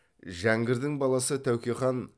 жәңгірдің баласы тәуке хан